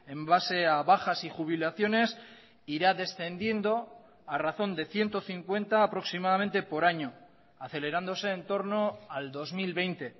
en base a bajas y jubilaciones irá descendiendo a razón de ciento cincuenta aproximadamente por año acelerándose entorno al dos mil veinte